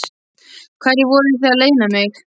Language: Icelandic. Hverju voruð þið að leyna mig?